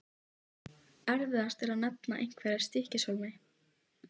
Erfiðast er að nefna einhverja í Stykkishólmi.